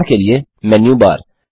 उदाहरण के लिए मेनू बार